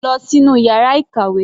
Lọ sínú yàrá ìkàwé.